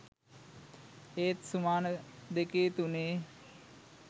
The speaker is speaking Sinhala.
ඒත් සුමාන දෙකේ තුනේ